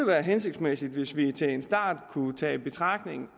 være hensigtsmæssigt hvis vi til en start kunne tage i betragtning